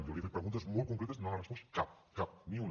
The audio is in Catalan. jo li he fet preguntes molt concretes i no n’ha respost cap cap ni una